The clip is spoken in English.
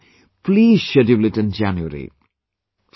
If possible, please schedule it in January